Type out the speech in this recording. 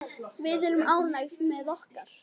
Við erum ánægð með okkar.